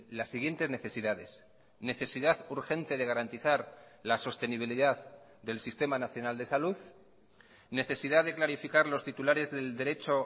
las siguientes necesidades necesidad urgente de garantizar la sostenibilidad del sistema nacional de salud necesidad de clarificar los titulares del derecho